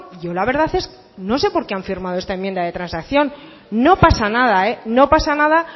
yo la verdad es que no sé por qué han firmado esta enmienda de transacción no pasa nada no pasa nada